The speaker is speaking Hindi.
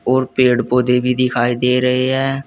और पेड़ पौधे भी दिखाई दे रहे हैं।